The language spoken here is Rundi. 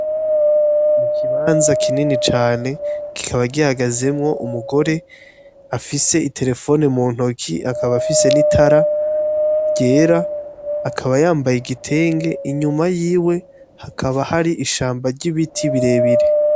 Ikibanza kinini cane kikaba gihagazemwo umugore afise iterefone mu ntoki akaba afise n'itara ryera akaba yambaye igitenge inyuma yiwe hakaba hari ishamba ry'ibiti birebire.